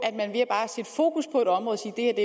et